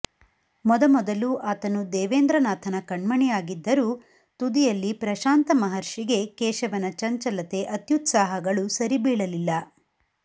ಮೊದಮೊದಲು ಆತನು ದೇವೇಂದ್ರನಾಥನ ಕಣ್ಣಮಣಿಯಾಗಿದ್ದರೂ ತುದಿಯಲ್ಲಿ ಪ್ರಶಾಂತ ಮಹರ್ಷಿಗೆ ಕೇಶವನ ಚಂಚಲತೆ ಅತ್ಯುತ್ಸಾಹಗಳು ಸರಿಬೀಳಲಿಲ್ಲ